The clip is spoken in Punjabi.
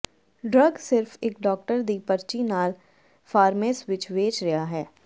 ਡਰੱਗ ਸਿਰਫ ਇੱਕ ਡਾਕਟਰ ਦੀ ਪਰਚੀ ਨਾਲ ਫਾਰਮੇਸ ਵਿੱਚ ਵੇਚ ਰਿਹਾ ਹੈ